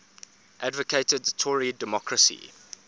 advocated tory democracy